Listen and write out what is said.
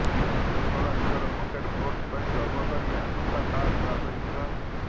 ଯେଉଁ ଦଳ ନିଜର ପକେଟ୍ ଭୋଟ୍ ପାଇଁ ଗର୍ବ କରି ଆସୁଥିଲା ତାହା ଧରାଶୀୟୀ ହେଲା